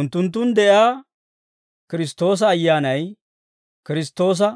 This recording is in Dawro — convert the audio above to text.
Unttunttun de'iyaa Kiristtoosa Ayyaanay Kiristtoosa